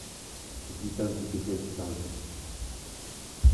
какие танки качать в танках